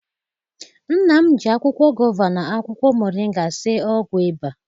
Nna m ji akwụkwọ gova na akwụkwọ moringa sie ọgwụ ịba.